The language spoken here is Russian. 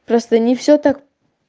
просто не всё так